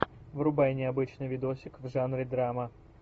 врубай необычный видосик в жанре драма